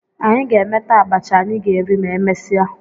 Anyị ga-emeta abacha anyị ga-eri ma emesịa